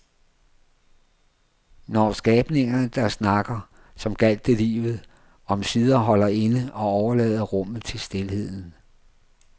Når skabningerne, der snakker, som gjaldt det livet, omsider holder inde og overlader rummet til stilheden.